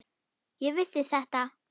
Ég vissi þetta!